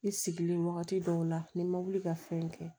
I sigilen wagati dɔw la ni ma wuli ka fɛn kɛ